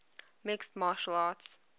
mixed martial arts